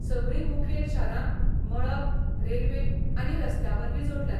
सगळीं मुखेल शारां मळब, रेल्वे, आनी रस्त्यावरवीं जोडल्यांत.